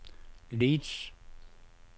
Leeds